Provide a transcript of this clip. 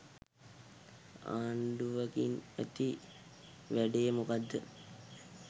ආණ්ඩුවකින් ඇති වැඩේ මොකක්ද?